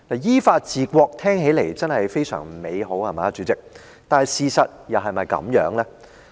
依法治國聽起來真的非常美好，主席，但是，事實又是否如此？